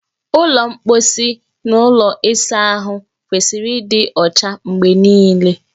Ụlọ mposi na ụlọ ịsa ahụ kwesịrị ịdị ọcha mgbe niile.